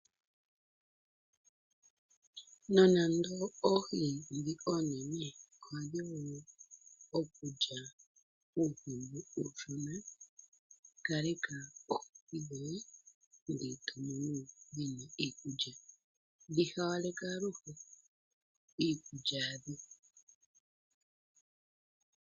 Nonando oohi ndhi oonene ohadhi li uuhi mbu uushona dhi hawaleka aluhe iikulya yadho